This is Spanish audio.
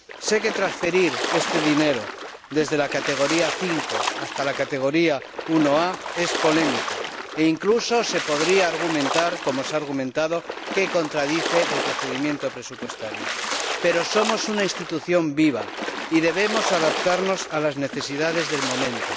Sé que transferir este dinero desde la categoría 5 hasta la categoría 1a es polémico, e incluso se podría argumentar, como se ha argumentado, que contradice el procedimiento presupuestario, pero somos una institución viva y debemos adaptarnos a las necesidades del momento.